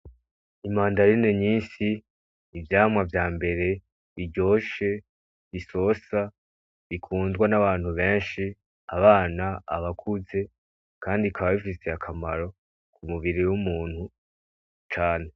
Imandarine nyinshi ivyama vyambere biryoshe bisosa bikundwa n'abantu benshi, abana abakuze kandi bikaba bifise akamaro k'umubiri w'umuntu cane.